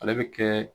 Ale bɛ kɛ